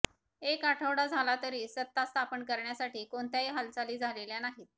एक आठवडा झाला तरी सत्तास्थापन करण्यासाठी कोणत्याही हालचाली झालेल्या नाहीत